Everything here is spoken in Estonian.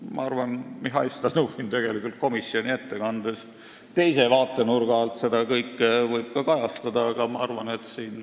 Ma arvan, et Mihhail Stalnuhhin võib komisjoni ettekandes seda kõike teise vaatenurga alt ka kajastada.